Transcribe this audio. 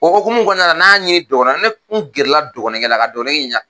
O hokumu kɔnɔna na n'a ɲini dɔgɔnɔ ne n gɛrɛ la ka dɔgɔnɔ kɛ la ka dɔgɔnɔ kɛ ɲininka.